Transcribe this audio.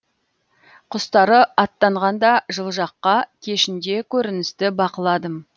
құстары аттанғанда жылы жаққа кешінде көріністі бақыладым